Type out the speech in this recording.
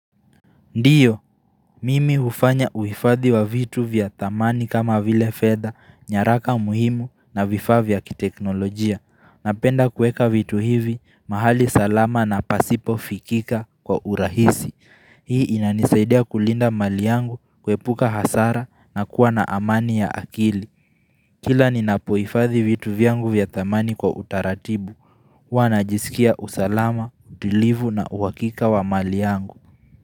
Ndiyo, mimi hufanya uhifadhi wa vitu vya thamani kama vile fedha, nyaraka muhimu na vifaa vya kiteknolojia. Napenda kuweka vitu hivi, mahali salama na pasipo fikika kwa urahisi. Hii inanisaidia kulinda mali yangu, kuepuka hasara na kuwa na amani ya akili. Kila ninapohifadhi vitu vyangu vya thamani kwa utaratibu, huwa najisikia usalama, utulivu na uhakika wa mali yangu.